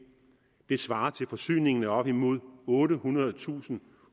svarer til forsyningen af op imod ottehundredetusind